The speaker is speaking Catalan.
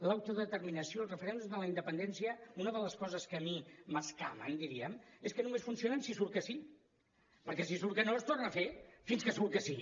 l’autodeterminació el referèndum de la independència una de les coses que a mi m’escamen diríem és que només funcionen si surt que sí perquè si surt que no es torna a fer fins que surt que sí